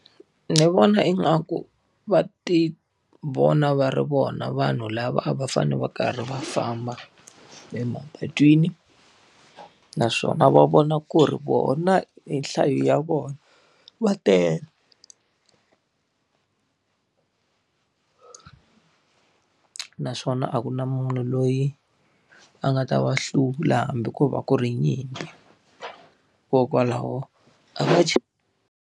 Ni vona ingaku va ti vona va ri vona vanhu lava a va fanele va karhi va famba emapatwini. Naswona va vona ku ri vona hi nhlayo ya vona va tele naswona a ku na munhu loyi a nga ta va hlula hambi ko va ku ri nyimpi. Hikokwalaho a va .